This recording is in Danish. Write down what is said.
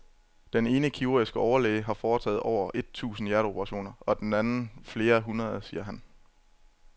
Den ene kirurgiske overlæge har foretaget over et tusind hjerteoperationer og den anden flere hundrede, siger han.